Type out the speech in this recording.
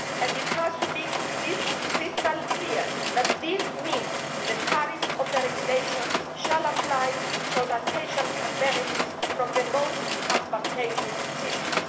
It has to be crystal clear that this means the tariffs of the regulation shall apply so that patients can benefit from the most advantageous system.